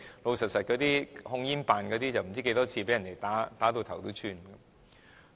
老實說，控煙辦公室人員不知道多少次被人打到頭破血流。